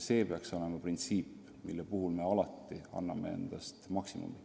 See peaks olema printsiip, mille arvestamisel me alati anname endast maksimumi.